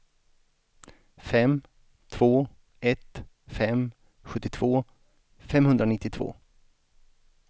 fem två ett fem sjuttiotvå femhundranittiotvå